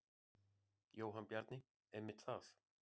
Jóhann Bjarni: Einmitt það.